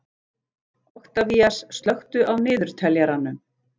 Oktavías, slökktu á niðurteljaranum.